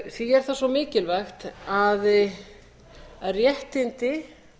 því er það svo mikilvægt að réttindi